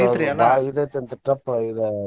ಇದ್ ಐತಿ ಅಂತರಿ tough ಇದ.